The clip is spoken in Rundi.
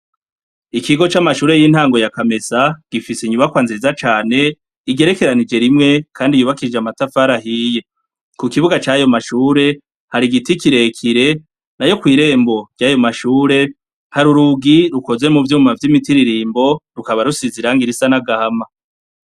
Ikigo c'amashure y'intango ya kamesa ,gifise inyubakwa nziza cane ,igerekeranije rimwe kandi yubakishije amatafari ahiye, kukibuga c'ayo mashure hari igiti kirekire, nayo kw'irembo ryayo mashure ,har'urugi rukoze muvyuma vy'imitiririmbo rusize rukaba rusize irangi risa n'agahama.